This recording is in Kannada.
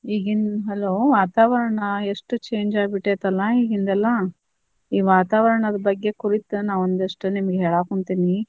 ಈಗಿನ್ hello , ವಾತಾವರಣ ಎಷ್ಟ್ change ಆಗ್ಬಿಟ್ಟೆತಲ್ಲಾ ಈಗಿಂದೆಲ್ಲಾ, ಈ ವಾತಾವರಣದ ಬಗ್ಗೆ ಕುರಿತ್ ನಾ ಒಂದಿಷ್ಟ್ ನಿಮ್ಗ ಹೇಳಾಕುಂತೇನಿ.